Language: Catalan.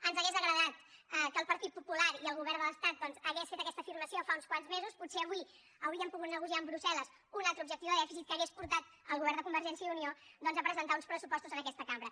ens hauria agradat que el partit popular i el govern de l’estat doncs haguessin fet aquesta afirmació fa uns quants mesos potser avui hauríem pogut negociar amb brussel·les un altre objectiu de dèficit que hagués portat el govern de convergència i unió doncs a presentar uns pressupostos en aquesta cambra